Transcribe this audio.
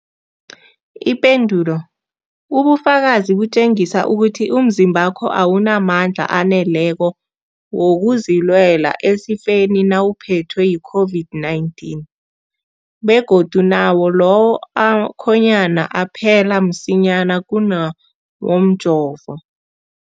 Ipendulo, ubufakazi butjengisa ukuthi umzimbakho awunamandla aneleko wokuzilwela esifeni nawuphethwe yi-COVID-19, begodu nawo lawo akhonyana aphela msinyana kunawomjovo.